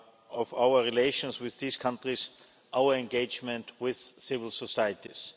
of our relations with these countries our engagement with civil societies.